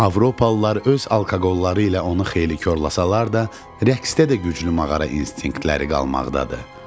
Avropalılar öz alkoqolları ilə onu xeyli korlasalar da rəqsdə də güclü maqara instinktləri qalmaqdadır.